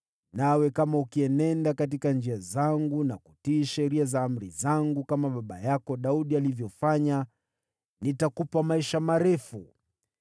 Nawe kama ukienenda katika njia zangu na kutii sheria na amri zangu kama baba yako Daudi alivyofanya, nitakupa maisha marefu.”